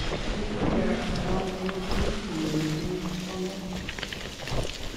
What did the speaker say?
kikituye ak Talam eng ofisit nyin eng Bomet.